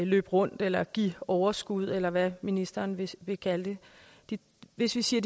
løbe rundt eller give overskud eller hvad ministeren vil vil kalde det hvis vi siger